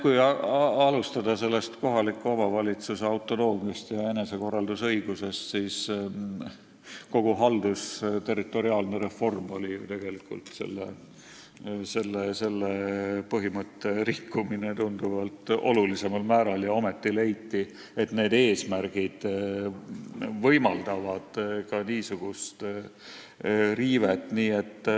Kui alustada kohaliku omavalitsuse autonoomiast ja enesekorraldusõigusest, siis tuleb öelda, et kogu haldusterritoriaalne reform oli tegelikult selle põhimõtte rikkumine tunduvalt olulisemal määral ja ometi leiti, et need eesmärgid võimaldavad ka niisugust riivet.